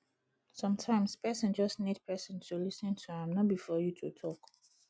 sometimes person just need person to lis ten to am no be for you to talk